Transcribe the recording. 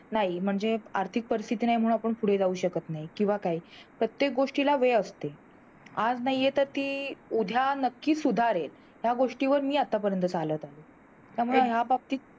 नाही म्हणजे आर्थिक परिस्थिती नाही, म्हणून आपण पुढे जाऊ शकत नाही किंवा काय प्रत्येक गोष्टीला वेळ असतो आज नाही येत तरी ती उद्या नक्कीच सुधारेल या गोष्टीवर मी आतापर्यंत चालत आहे त्यामुळे या बाबतीत